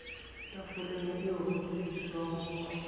tafoleng eo ho tsebiswang ho